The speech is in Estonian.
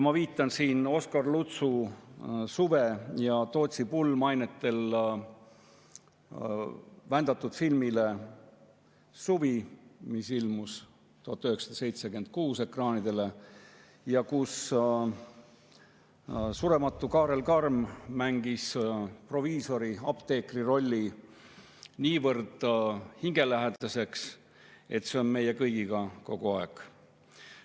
Ma viitan siin Oskar Lutsu "Suve" ja "Tootsi pulma" ainetel vändatud filmile "Suvi", mis ilmus ekraanidele 1976 ja kus surematu Kaarel Karm mängis proviisori, apteekri rolli niivõrd hingelähedaseks, et see on meie kõigiga kogu aeg.